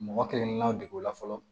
Mɔgɔ kelen kelennaw de b'o la fɔlɔ